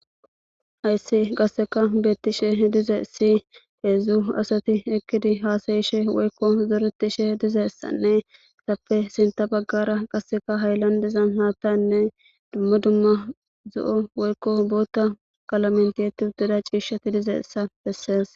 Hayssi qasseka beettishe dize si heedzdzu asati ekkidi haasayishe woykko zoretishe dizeessanne tappe sinta baggara qasseka hayllandezan haattanne dumma dumma zo7o woykko bootta qalamenteti uddeda ciishati dizeessa bessees.